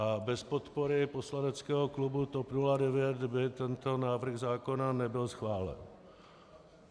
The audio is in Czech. A bez podpory poslaneckého klubu TOP 09 by tento návrh zákona nebyl schválen.